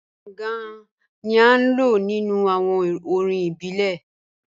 Gàngàn ni à lọ̀ nínu awọn orín ìbílẹ̀.